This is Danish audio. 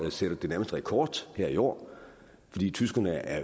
sætter det nærmest rekord her i år tyskerne er